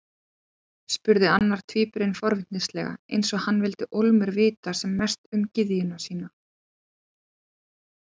spurði annar tvíburinn forvitnislega, eins og hann vildi ólmur vita sem mest um gyðjuna sína.